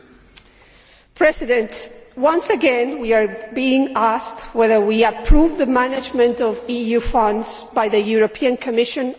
Mr President, once again we are being asked whether or not we approve the management of EU funds by the European Commission.